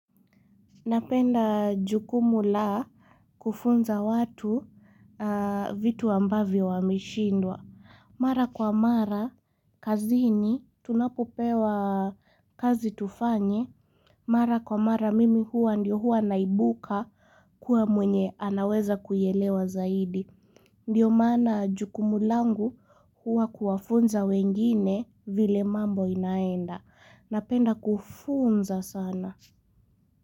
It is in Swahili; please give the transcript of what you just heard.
Napenda jukumu la kufunza watu vitu ambavyo wameshindwa. Mara kwa mara, kazini, tunapopewa kazi tufanye. Mara kwa mara, mimi huwa ndio huwa naibuka kuwa mwenye anaweza kuielewa zaidi. Ndiyo maana jukumu langu huwa kuwafunza wengine vile mambo inaenda. Napenda kufunza sana.